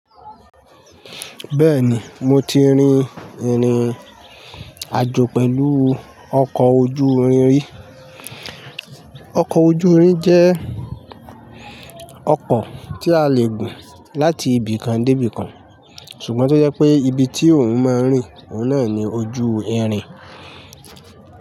Bẹ́ẹ̀ni, mo ti rin ìrìnàjò pẹ̀lú ọkọ̀ ojú irin rí. Ọkọ̀ ojú irin jẹ́ ọkọ̀ tí a lè gùn láti ibì kan dé ibì kan ṣùgbọ́n tó jẹ́ pé ibi tí òun máa ń rìn, òun náà ni ojú irin.